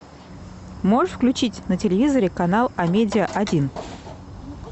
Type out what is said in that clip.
можешь включить на телевизоре канал амедиа один